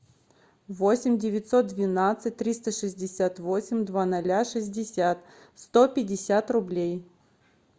восемь девятьсот двенадцать триста шестьдесят восемь два ноля шестьдесят сто пятьдесят рублей